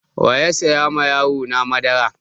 Wa ya saya ma yarona madara?